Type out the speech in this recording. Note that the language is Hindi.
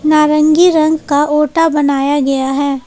नारंगी रंग का ओटा बनाया गया है।